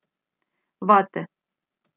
Vate.